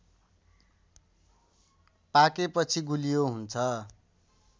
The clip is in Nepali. पाकेपछि गुलियो हुन्छ